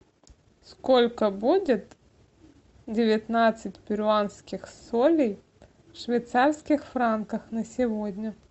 сколько будет девятнадцать перуанских солей в швейцарских франках на сегодня